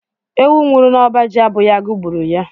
Ewu nwuru n'oba jì abụghị agu gburu ya.